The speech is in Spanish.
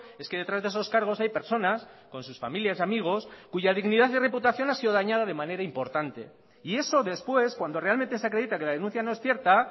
es que detrás de esos cargos hay personas con sus familias y amigos cuya dignidad y reputación ha sido dañada de manera importante y eso después cuando realmente se acredita que la denuncia no es cierta